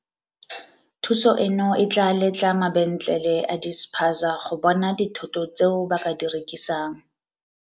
Thuso eno e tla letla ma-bentlele a dispaza go bona dithoto tseo ba ka di rekisang.